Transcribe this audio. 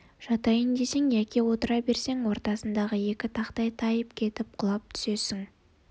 жатайын десең яки отыра берсең ортасындағы екі тақтай тайып кетіп құлап түсесің